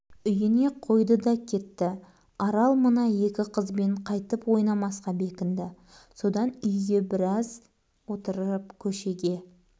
үйіне қойды да кетті арал мына екі қызбен қайтып ойнамасқа бекінді содан үйде біраз отырып көшеге